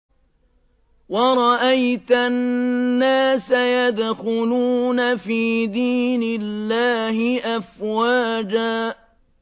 وَرَأَيْتَ النَّاسَ يَدْخُلُونَ فِي دِينِ اللَّهِ أَفْوَاجًا